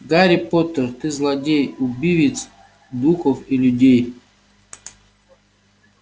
гарри поттер ты злодей убивец духов и людей